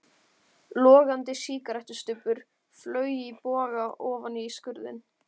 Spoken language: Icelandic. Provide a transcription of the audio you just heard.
Logandi sígarettustubbur flaug í boga ofan í skurðinn.